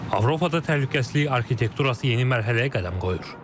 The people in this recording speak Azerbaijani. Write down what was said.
Avropada təhlükəsizlik arxitekturası yeni mərhələyə qədəm qoyur.